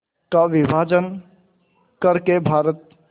का विभाजन कर के भारत